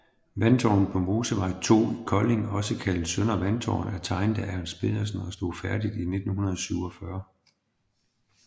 Vandtårnet på Mosevej 2 Kolding også kaldet Søndre Vandtårn er tegnet af Ernst Petersen og stod færdigt i 1947